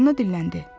Fali dildəndi.